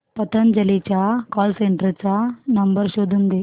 पतंजली च्या call centre चा number शोधून दे